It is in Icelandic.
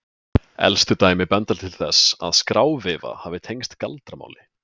elstu dæmi benda til þess að skráveifa hafi tengst galdramáli